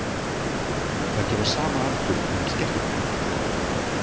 Þær gefa sama aldur innan skekkjumarka.